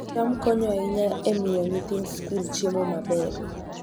cham konyo ahinya e miyo nyithind skul chiemo maber